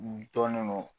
N dɔnnen don